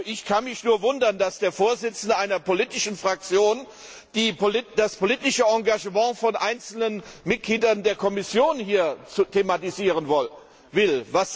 Ich kann mich nur wundern, dass der Vorsitzende einer politischen Fraktion das politische Engagement von einzelnen Mitgliedern der Kommission thematisieren will.